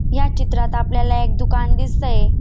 या चित्रात आपल्याला एक दुकान दिसतंय.